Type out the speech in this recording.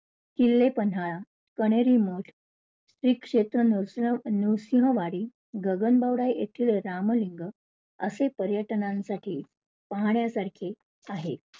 किल्ले पन्हाळा, कन्हेरी मठ, श्री क्षेत्र नरसिंहवाडी, गगनबावडा इथले रामलिंग असे पर्यटनांसाठी पाहण्यासारखे आहे.